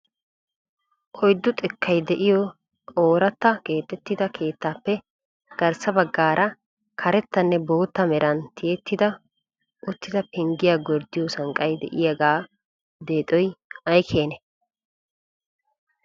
Oyddu xekkay de'iyo oorata keexxetida keettaappe garssa baggaara karettanne bootta meran tiyyetti uttida pengiya gorddiyo sanqqay de'iyaaga deexoy ay keene?